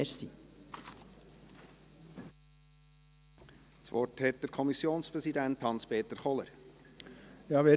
Ich gebe dem Kommissionspräsidenten Hans-Peter Kohler das Wort.